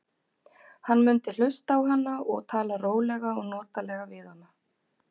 Hann mundi hlusta á hana og tala rólega og notalega við hana.